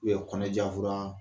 U ye kɔnɔjafura